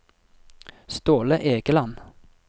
Ståle Egeland